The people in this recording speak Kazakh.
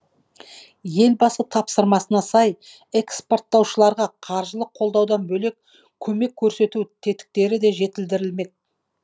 елбасы тапсырмасына сай эскпорттаушыларға қаржылық қолдаудан бөлек көмек көрсету тетіктері де жетілдірілмек